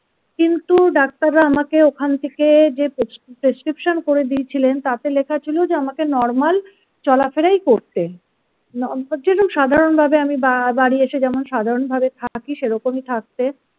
কিন্তু ডাক্তাররা আমাকে ওখান থেকে যে prescription করে দিয়েছিলেন তাতে লেখা ছিল যে আমাকে নরমাল চলাফেরাই করতে উম যেরকম সাধারণ ভাবে আমি বা বাড়ি এসে যেমন সাধারণভাবে থাকি সেরকমই থাকতে।